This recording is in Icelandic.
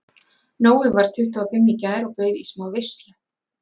Nói varð tuttugu og fimm í gær og bauð í smá veislu.